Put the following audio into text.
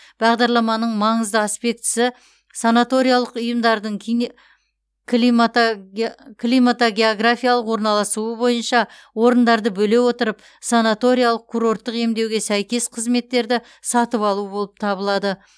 бағдарламаның маңызды аспектісі санаториялық ұйымдардың климатогеографиялық орналасуы бойынша орындарды бөле отырып санаториялық курорттық емдеуге сәйкес қызметтерді сатып алу болып табылады